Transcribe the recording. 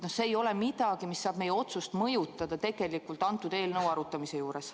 See ei ole miski, mis võib meie otsust mõjutada, kui me seda eelnõu arutame.